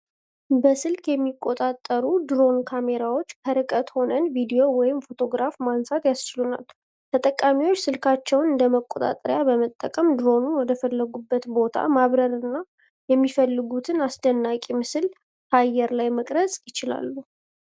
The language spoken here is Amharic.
በስልክ የሚቆጣጠሩ ድሮን ካሜራዎች ከርቀት ሆነን ቪዲዮ ወይም ፎቶግራፍ ማንሳት ያስችላሉ። ተጠቃሚዎች ስልካቸውን እንደ መቆጣጠሪያ በመጠቀም ድሮኑን ወደፈለጉት ቦታ ማብረርና የሚፈልጉትን አስደናቂ ምስል ከአየር ላይ መቅረጽ ይችላሉ።